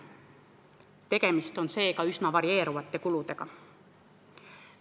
Tegemist on seega üsna varieeruvate kuludega.